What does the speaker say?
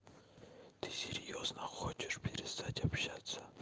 ты серьёзно хочешь перестать общаться